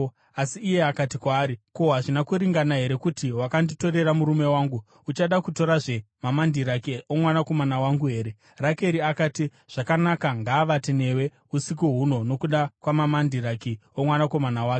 Asi iye akati kwaari, “Ko, hazvina kuringana here kuti wakanditorera murume wangu? Uchada kutorazve mamandiraki omwanakomana wangu here?” Rakeri akati, “Zvakanaka, ngaavate newe usiku huno nokuda kwamamandiraki omwanakomana wako.”